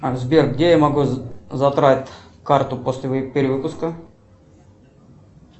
сбер где я могу забрать карту после перевыпуска